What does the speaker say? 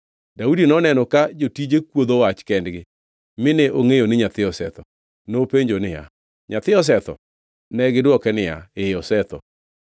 Daudi noneno ka jotije kuodho wach kendgi mine ongʼeyo ni nyathi osetho. Nopenjo niya, “Nyathi osetho?” Negidwoke niya, “Ee, osetho.”